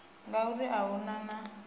ngauri a hu na na